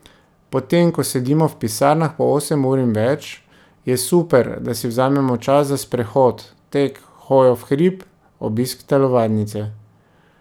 Potem ko sedimo v pisarnah po osem ur in več, je super, da si vzamemo čas za sprehod, tek, hojo v hrib, obisk telovadnice ...